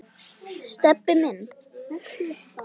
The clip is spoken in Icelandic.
Stebbi minn.